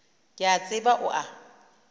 ke a tseba o a